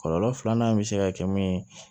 Kɔlɔlɔ filanan bɛ se ka kɛ mun ye